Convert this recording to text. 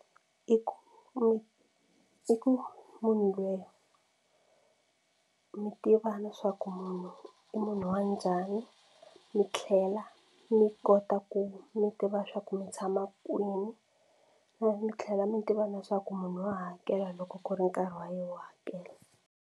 I ku mi i ku munhu lweyi mi tiva leswaku munhu i munhu wa njhani mi tlhela mi kota ku mi tiva swa ku mi tshama kwini mi tlhela mi tiva leswaku munhu wa hakela loko ku ri nkarhi wa yena wo hakela.